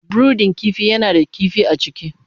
brudin kifi yana da kifi a ciki.